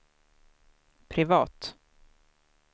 privat